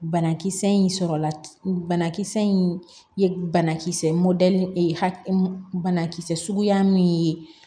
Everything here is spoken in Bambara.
Banakisɛ in sɔrɔla banakisɛ in ye banakisɛ banakisɛ suguya min ye